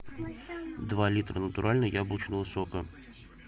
два литра натурального яблочного сока